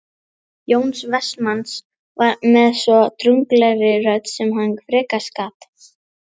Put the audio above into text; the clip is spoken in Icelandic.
Jóns Vestmanns með svo drungalegri röddu sem hann frekast gat